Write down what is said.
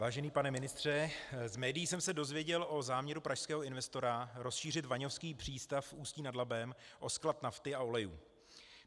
Vážený pane ministře, z médií jsem se dozvěděl o záměru pražského investora rozšířit vaňovský přístav v Ústí nad Labem o sklad nafty a olejů.